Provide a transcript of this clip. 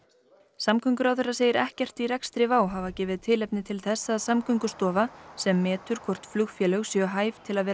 samgönguráðherra segir ekkert í rekstri WOW hafa gefið tilefni til þess að Samgöngustofa sem metur hvort flugfélög séu hæf til að vera